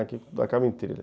Aqui tudo acaba em thriller.